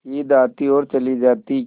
ईद आती और चली जाती